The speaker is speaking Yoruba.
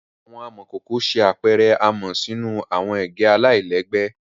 Awọn amọkoko ṣe apẹrẹ amọ sinu awọn ege alailẹgbẹ